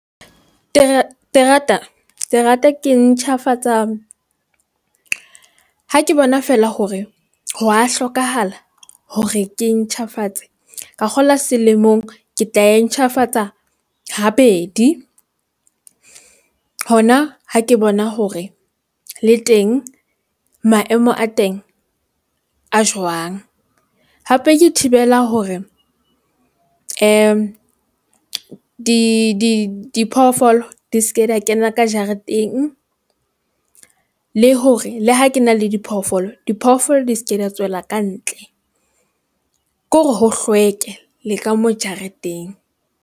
Terata, terata ke e ntjhafatsa ha ke bona fela hore ho wa hlokahala hore ke e ntjhafatse. Ka kgolwa selemong ke tla e ntjhafatsa habedi. Hona ha ke bona hore le teng maemo a teng a jwang. Hape ke thibela hore di di diphoofolo, di ske di ya kena ka jareteng le hore le ha ke na le diphoofolo, diphoofolo di seke di ya tswela kantle. Ke hore ho hlweke le ka moo jareteng.